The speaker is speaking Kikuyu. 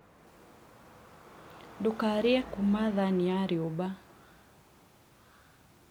ndũkarĩe kuma thani ya riũba